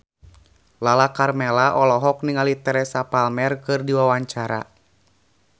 Lala Karmela olohok ningali Teresa Palmer keur diwawancara